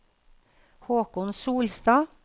Håkon Solstad